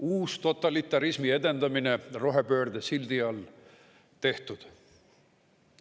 Uustotalitarismi edendamine rohepöörde sildi all – tehtud.